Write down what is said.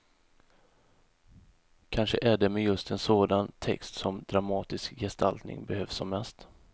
Kanske är det med just en sådan text som dramatisk gestaltning behövs som mest.